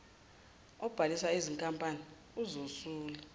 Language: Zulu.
obhalisa izinkampani uzosula